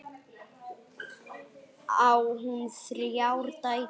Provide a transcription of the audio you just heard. Á hún þrjár dætur.